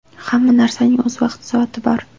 Hamma narsaning o‘z vaqti-soati bor.